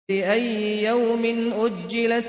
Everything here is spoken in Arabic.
لِأَيِّ يَوْمٍ أُجِّلَتْ